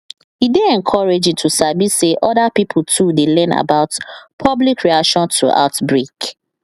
e dey encouraging to sabi say other pipo too dey learn about public reaction to outbreak